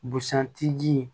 Busan tigi